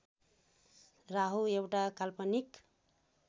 राहु एउटा काल्पनिक